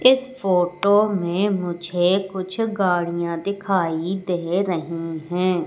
इस फोटो मे मुझे कुछ गाड़ियां दिखाई दे रही है।